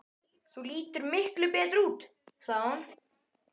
Þú lítur miklu betur út, sagði hún.